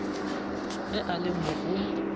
ge a le mo o